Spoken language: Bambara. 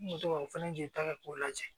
N kun bɛ to ka o fɛnɛ jelita kɛ k'o lajɛ